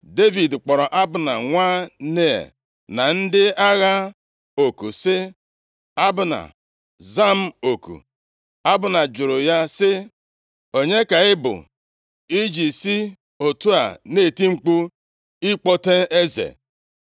Devid kpọrọ Abna nwa Nea na ndị agha oku sị, “Abna, za m oku!” Abna jụrụ ya sị, “Onye ka ị bụ i ji si otu a na-eti mkpu ịkpọte eze?”